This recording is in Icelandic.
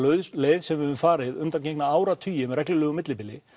leið sem við höfum farið undangengna áratugi með reglulegu millibili